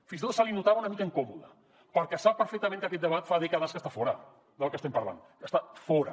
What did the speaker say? fins i tot se’l notava una mica incòmode perquè sap perfectament que aquest debat fa dècades que està fora del que estem parlant està fora